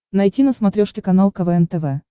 найти на смотрешке канал квн тв